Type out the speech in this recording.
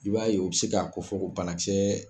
I b'a ye o bɛ se k'a ko fɔ banakisɛ.